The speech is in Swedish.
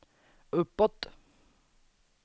uppåt